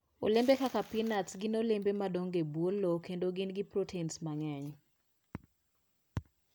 Olembe kaka peanuts gin olembe ma dongo e bwo lowo kendo gin gi protein mang'eny.